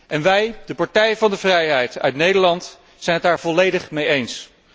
En wij, de Partij van de Vrijheid uit Nederland, zijn het daar volledig mee eens.